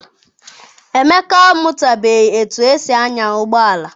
Emeka amụtabeghị etu esi anya ụgbọala.